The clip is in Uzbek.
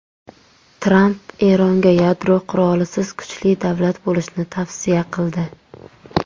Tramp Eronga yadro qurolisiz kuchli davlat bo‘lishni tavsiya qildi.